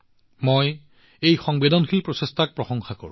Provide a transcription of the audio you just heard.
মই এই সংবেদনশীল প্ৰচেষ্টাক যথেষ্ট প্ৰশংসা কৰিছো